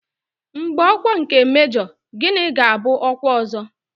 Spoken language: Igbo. Mgbe ọkwa nke mejọ, gịnị ga-abụ ọkwa ọzọ?